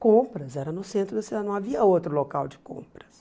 Compras, era no centro da cidade, não havia outro local de compras.